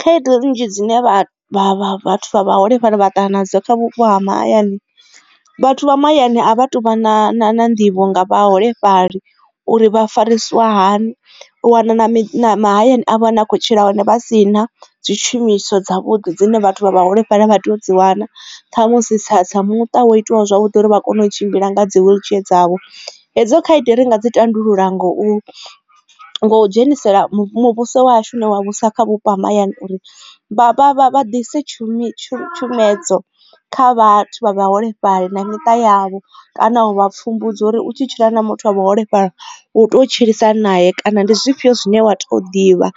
Khaedu nnzhi dzine vha vha vhathu vhaholefhali vha ṱangana nadzo kha vhupo ha mahayani vhathu vha mahayani a vha tu vha na nḓivho nga vhaholefhali uri vha farisiwa hani. U wana na miṱa mahayani a ne a khou tshila hone vha si na dzi tshumiswa dza vhuḓi dzine vhathu vha vhaholefhali vha tea u dzi wana kha musi tsa muṱa wa itiwa zwavhuḓi uri vha kone u tshimbila nga dzi wheelchair dzavho. hedzo khaedu ri nga dzi tandulula ngo ngo dzhenisela muvhuso wa hashu une wa vhusa kha vhupo ha mahayani uri vha vha vha vha tshumiso tshumedzo kha vhathu vha vhaholefhali na miṱa yavho kana u vha pfhumbudza uri u tshi tshila na muthu wa vhuholefhali u to tshilisa hani naye kana ndi zwifhio zwine wa to ḓivha